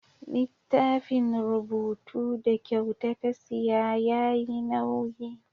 Littafin rubutu da kyauta ta siya yayi nauyi.